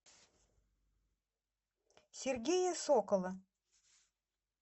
сергея сокола